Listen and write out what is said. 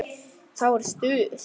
Þá er stuð.